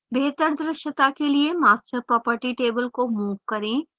बेहतर द्रश्यता के लिए master property table को move करें